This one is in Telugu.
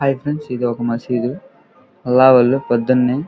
హాయ్ ఫ్రెండ్స్ ఇది ఒక మసీదు . అల్ల వాళ్ళు పొద్దున్నే --